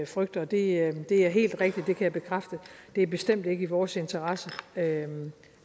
frygter det er helt rigtigt det kan jeg bekræfte det er bestemt ikke i vores interesse at noget